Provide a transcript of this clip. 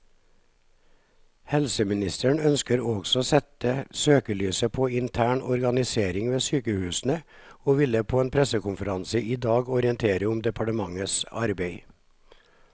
Helseministeren ønsker også å sette søkelyset på intern organisering ved sykehusene, og vil på en pressekonferanse i dag orientere om departementets arbeid.